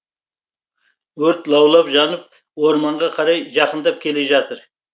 өрт лаулап жанып орманға қарай жақындап келе жатыр